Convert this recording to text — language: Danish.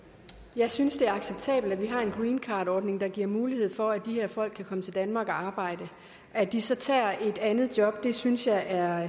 jeg synes det er acceptabelt at vi har en greencardordning der giver mulighed for at de her folk kan komme til danmark og arbejde at de så tager et andet job synes jeg er